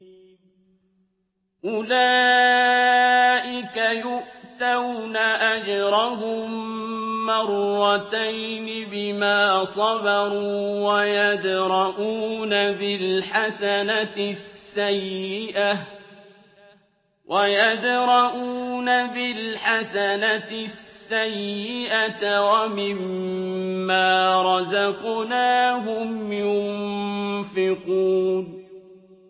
أُولَٰئِكَ يُؤْتَوْنَ أَجْرَهُم مَّرَّتَيْنِ بِمَا صَبَرُوا وَيَدْرَءُونَ بِالْحَسَنَةِ السَّيِّئَةَ وَمِمَّا رَزَقْنَاهُمْ يُنفِقُونَ